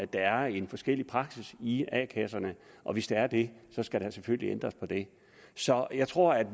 der er en forskellig praksis i a kasserne og hvis der er det skal der selvfølgelig ændres på det så jeg tror